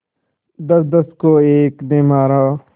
दसदस को एक ने मारा